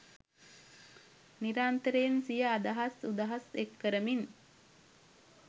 නිරන්තරයෙන් සිය අදහස් උදහස් එක්කරමින්